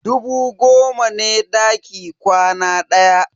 Dubu goma ne daki kwana ɗaya.